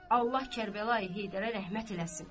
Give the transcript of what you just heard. Allah Kərbəlayi Heydərə rəhmət eləsin.